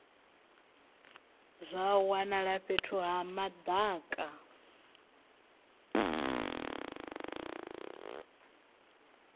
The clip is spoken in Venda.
zwa wanala fhethu ha madaka